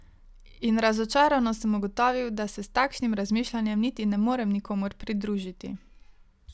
In razočarano sem ugotovil, da se s takšnim razmišljanjem niti ne morem nikomur pridružiti.